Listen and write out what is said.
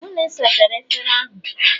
hụ na ị sachara efere ahụ!